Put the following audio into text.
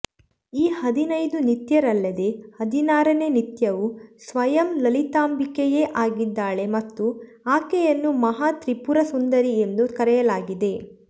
ಈ ಹದಿನೈದು ನಿತ್ಯರಲ್ಲದೆ ಹದಿನಾರನೇ ನಿತ್ಯವು ಸ್ವಯಂ ಲಲಿತಾಂಬಿಕೆಯೇ ಆಗಿದ್ದಾಳೆ ಮತ್ತು ಆಕೆಯನ್ನು ಮಹಾ ತ್ರಿಪುರ ಸುಂದರೀ ಎಂದೂ ಕರೆಯಲಾಗಿದೆ